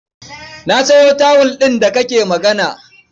Na sayo tawul ɗin da kake magana.